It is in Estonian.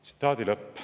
" Tsitaadi lõpp.